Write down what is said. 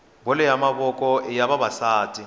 bolo ya mavoko iya vavasati